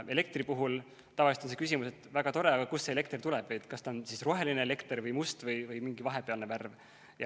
Elektri puhul on tavaliselt see küsimus, et väga tore, aga kust see elekter tuleb, kas see on roheline elekter või must või mingi vahepealne värv.